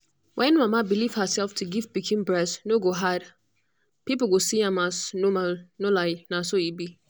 when mama believe herself to give pikin breast no go hard people go see am as normalno lie na so e be